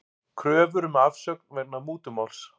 Kröfur um afsögn vegna mútumáls